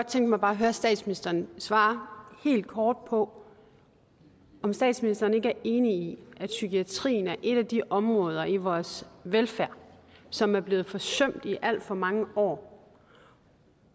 tænke mig at høre statsministeren svare helt kort på om statsministeren ikke er enig i at psykiatrien er et af de områder i vores velfærd som er blevet forsømt i alt for mange år